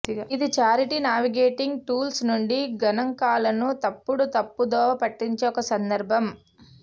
ఇది charity navigating tools నుండి గణాంకాలను తప్పుడు తప్పుదోవ పట్టించే ఒక సందర్భం